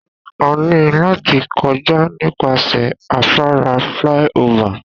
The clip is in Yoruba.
A ní láti kọjá nípasẹ̀ afárá flyover.